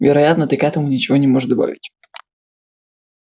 вероятно ты к этому ничего не можешь добавить